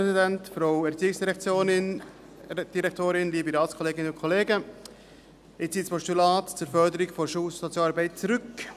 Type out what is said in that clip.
Ich ziehe das Postulat zur Förderung der Schulsozialarbeit zurück.